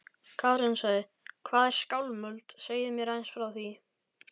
Karen: Hvað er Skálmöld, segið þið mér aðeins frá því?